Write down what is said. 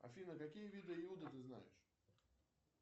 афина какие виды йода ты знаешь